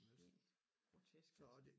Helt grotesk altså